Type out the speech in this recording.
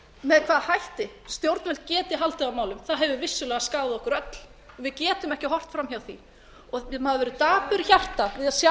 með hvaða hætti stjórnvöld geti haldið á málum hefur vissulega skaðað okkur öll við getum ekki horft fram hjá því maður verður dapur í hjarta við að sjá